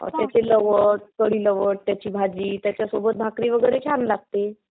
not Clear त्याची भाजी. त्याच्यासोबत भाकरी वैगेरे छान लागते.